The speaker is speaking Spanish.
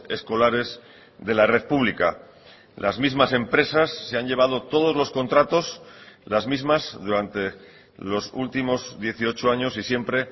escolares de la red pública las mismas empresas se han llevado todos los contratos las mismas durante los últimos dieciocho años y siempre